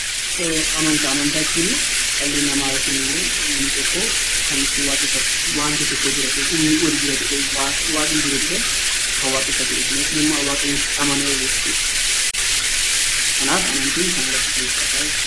Amantaa Amantaa jechuuni dhalli namaa yookiin immoo namni tokko kan itti waaqeffatu, wanti tokko jira jedhee, "humni olii jira" jedhee, "Waaqni jira" jedhee kan waaqeffatu yookiin immoo kan Waaqayyo tti amanu jechuu dha. Kanaaf Amantiin kana irratti xiyyeeffata jechuu dha.